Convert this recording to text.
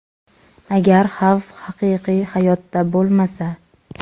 agar xavf haqiqiy hayotda bo‘lmasa.